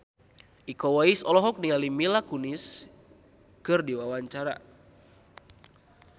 Iko Uwais olohok ningali Mila Kunis keur diwawancara